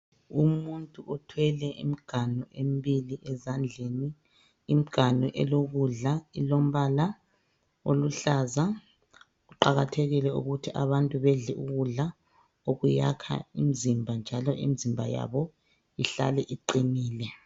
Umuntu othwele imiganu emibili ezandleni imiganu elokudla elombala oluhlaza. Kuqakathekile ukuthi abantu bedle ukudla okuyakha imizimba njalo imizimba yabo ihlale iqinile.